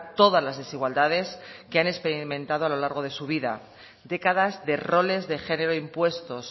todas las desigualdades que han experimentado a lo largo de su vida décadas de roles de género impuestos